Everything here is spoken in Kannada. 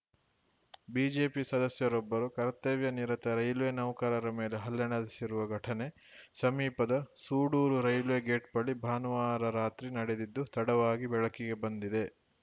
ಬಿಜೆಪಿ ಸದಸ್ಯರೊಬ್ಬರು ಕರ್ತವ್ಯ ನಿರತ ರೈಲ್ವೆ ನೌಕರರ ಮೇಲೆ ಹಲ್ಲೆ ನಡೆಸಿರುವ ಘಟನೆ ಸಮೀಪದ ಸೂಡೂರು ರೈಲ್ವೆ ಗೇಟ್‌ ಬಳಿ ಭಾನುವಾರ ರಾತ್ರಿ ನಡೆದಿದ್ದು ತಡವಾಗಿ ಬೆಳಕಿಗೆ ಬಂದಿದೆ